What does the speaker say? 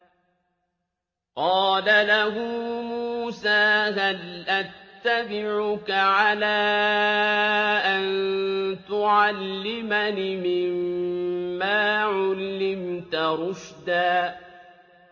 قَالَ لَهُ مُوسَىٰ هَلْ أَتَّبِعُكَ عَلَىٰ أَن تُعَلِّمَنِ مِمَّا عُلِّمْتَ رُشْدًا